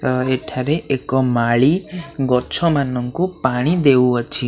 ଅ ଏଠାରେ ଏକ ମାଳି ଗଛମାନଙ୍କୁ ପାଣି ଦେଉଅଛି।